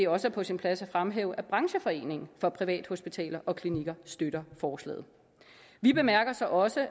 også er på sin plads at fremhæve at brancheforeningen for privathospitaler og klinikker støtter forslaget vi bemærker så også